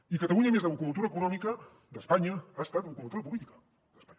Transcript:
i catalunya a més de locomotora econòmica d’espanya ha estat locomotora política d’espanya